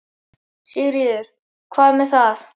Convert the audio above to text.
Sigríður: Hvað er það?